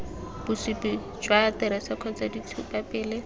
bosupi jwa aterese kgotsa ditshupapele